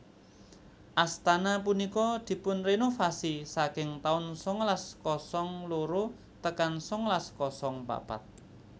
Astana punika dipunrenovasi saking taun sangalas kosong loro tekan sangalas kosong papat